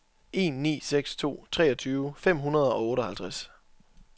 en ni seks to treogtyve fem hundrede og otteoghalvtreds